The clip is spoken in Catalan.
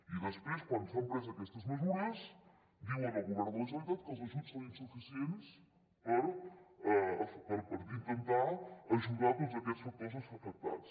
i després quan s’han pres aquestes mesures diuen al govern de la generalitat que els ajuts són insuficients per intentar ajudar tots aquests factors afectats